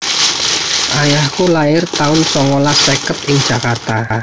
Ayahku lair taun songolas seket ing Jakarta